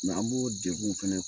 an b'o dekun fɛnɛ